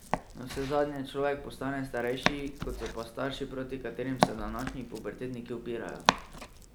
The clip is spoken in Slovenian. Navsezadnje človek postane starejši kot so pa starši proti katerim se današnji pubertetniki upirajo.